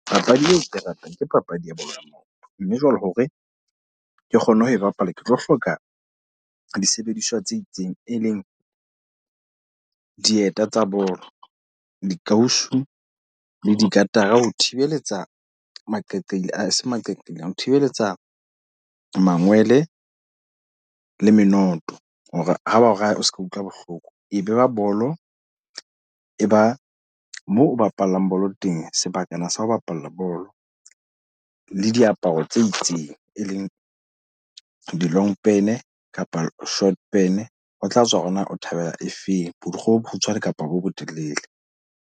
Papadi eo ke ratang, ke papadi ya bolo. Mme jwale hore ke kgone ho e bapala. Ke tlo hloka disebediswa tse itseng, e leng dieta tsa bolo, dikausu le di katara ho thibeletsa maqeqeila aa eseng maqaqailane. Ho thibeletsa mangwele le menoto. Hore ha ba o raya o seke wa utlwa bohloko. E be ba bolo, e ba moo o bapallang bolo teng. Sebakana sa ho bapala bolo. Le diaparo tse itseng, e leng di-long pan kapa short pan. Ho tla tswa hore na o thabela e feng. Borikgwe bo bokgutshwane kapa bo botelele.